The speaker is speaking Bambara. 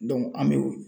an bɛ